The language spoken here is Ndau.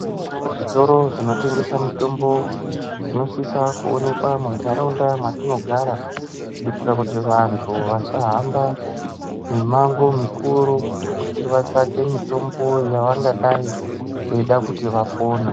Zvitoro zvinotengese mutombo zvinosisa muntaraunda mwatinogara kuitira kuti vantu vasahamba mimango mukuru kuti vatsvake mutombo yavangadai veida kuti vapone.